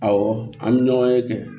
Awɔ an bɛ ɲɔgɔn ye kɛ